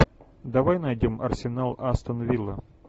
давай найдем арсенал астон вилла